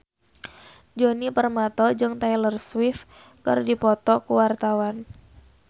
Djoni Permato jeung Taylor Swift keur dipoto ku wartawan